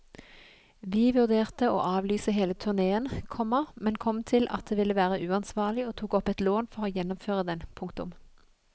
Vi vurderte å avlyse hele turneen, komma men kom til at det ville være uansvarlig og tok opp et lån for å gjennomføre den. punktum